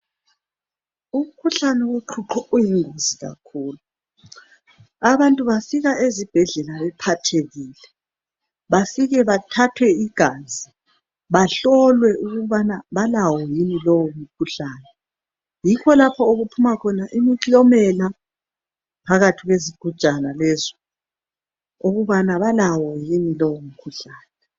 Umkhuhlane woqhuqho uyingozi kakhulu abantu bafika ezibhedlela bephathekile befike bethathwe igazi bahlolwe ukubana balawo yini lowo mkhuhlane. Yikho lapho okuphuma khona imiklomela phakathi kwesigujana leso ukubana balawo yini lowo mkhuhlane.